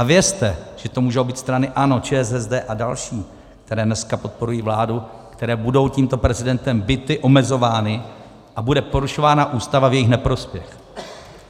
A vězte, že to můžou být strany ANO, ČSSD a další, které dneska podporují vládu, které budou tímto prezidentem bity, omezovány, a bude porušována Ústava v jejich neprospěch.